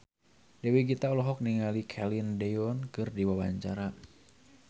Dewi Gita olohok ningali Celine Dion keur diwawancara